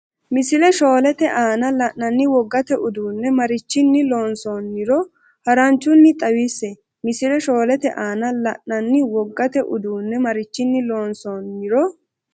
Misile shoolete aana la’nanni wogate uduunne marichinni loonsoon- niro haranchunni xawisse Misile shoolete aana la’nanni wogate uduunne marichinni loonsoon- niro.